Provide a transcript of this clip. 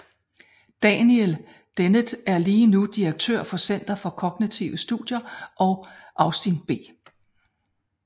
Daniel Dennett er lige nu direktør for Center for Kognitive Studier og Austin B